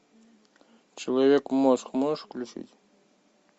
человек мозг можешь включить